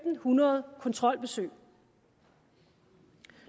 hundrede kontrolbesøg